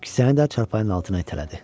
Kisəni də çarpayının altına itələdi.